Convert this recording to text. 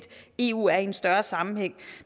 eu er i en større sammenhæng